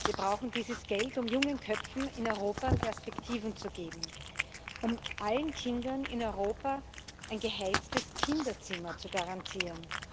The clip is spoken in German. Wir brauchen dieses Geld, um jungen Köpfen in Europa Perspektiven zu geben, um allen Kindern in Europa ein geheiztes Kinderzimmer zu garantieren.